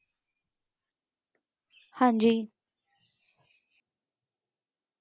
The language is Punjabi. ਹਾਂਜੀ